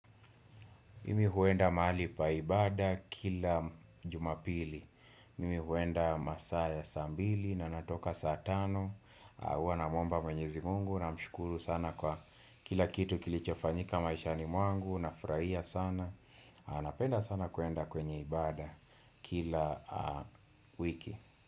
Mimi huenda mahali pa ibada kila jumapili mimi huenda masaa ya saa mbili na natoka saa tano au huwa namwomba mwenyezi Mungu namshukuru sana kwa kila kitu kilichofanyika maishani mwangu nafurahia sana napenda sana kuenda kwenye ibada kila wiki.